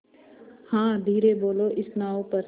हाँ धीरे बोलो इस नाव पर